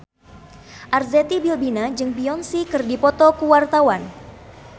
Arzetti Bilbina jeung Beyonce keur dipoto ku wartawan